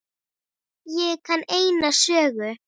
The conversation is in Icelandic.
Ég kann eina sögu.